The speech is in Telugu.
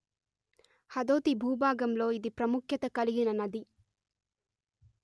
హదోతి భూభాగంలో ఇది ప్రముఖ్యత కలిగిన నది